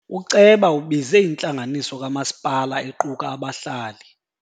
Uceba ubize intlanganiso kamasipala equka abahlali.